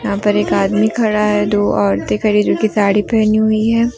यहां पर एक आदमी खड़ा है दो औरतें खड़ी जो कि साड़ी पहनी हुई हैं।